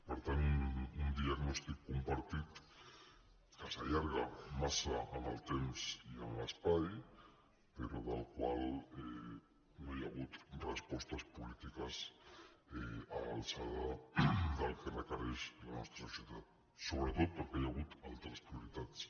per tant un diagnòstic compartit que s’allarga massa en el temps i en l’espai però per al qual no hi ha hagut respostes polítiques a l’alçada del que requereix la nostra societat sobretot perquè hi ha hagut altres prioritats